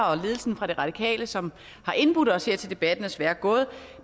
også ledelsen fra de radikale som har indbudt os til debatten desværre gået